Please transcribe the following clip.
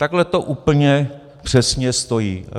Takhle to úplně přesně stojí.